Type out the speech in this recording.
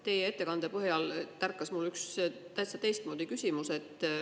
Teie ettekande põhjal tärkas mul üks täitsa teistmoodi küsimus.